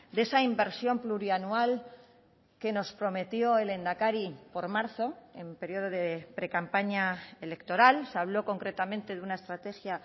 de esa inversión plurianual que nos prometió el lehendakari por marzo en periodo de precampaña electoral se habló concretamente de una estrategia